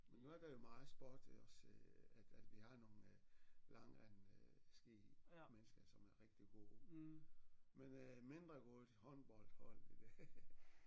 Men nu er der jo meget sport også at at vi har nogle langrend ski mennesker som er rigtig gode men øh mindre gode til håndbold hold